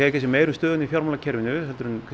kannski meira um stöðuna í fjármálakerfinu heldur en